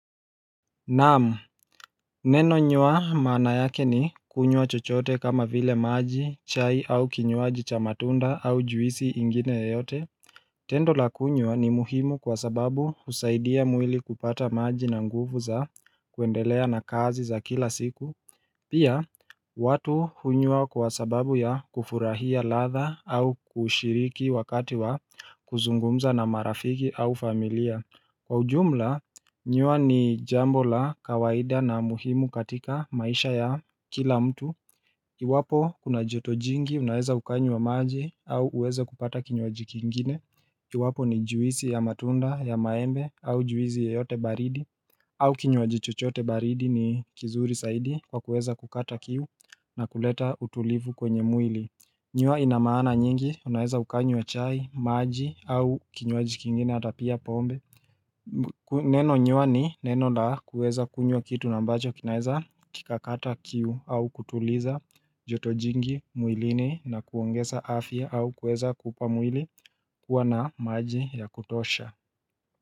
Naam neno nyua maana yake ni kunywa chochote kama vile maji, chai au kinywaji cha matunda au juisi ingine yeyote Tendo la kunywa ni muhimu kwa sababu husaidia mwili kupata maji na nguvu za kuendelea na kazi za kila siku Pia, watu hunywa kwa sababu ya kufurahia ladha au kushiriki wakati wa kuzungumza na marafiki au familia Kwa ujumla, nyua ni jambo la kawaida na muhimu katika maisha ya kila mtu. Iwapo kuna joto jingi, unaweza ukanywa wa maji au uweze kupata kinywaji kingine. Iwapo ni juisi ya matunda ya maembe au juisi yeyote baridi. Au kinywaji chochoote baridi ni kizuri zaidi kwa kueza kukata kiu na kuleta utulivu kwenye mwili. Nyua inamaana nyingi, unaweza ukanywa chai, maji au kinywaji kingine ata pia pombe. Neno nyua ni neno la kuweza kunywa kitu na mbacho kinaeza kikakata kiu au kutuliza joto jingi mwilini na kuongeza afya au kuweza kupamwili kuwa na maji ya kutosha.